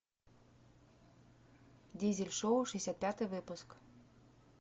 дизель шоу шестьдесят пятый выпуск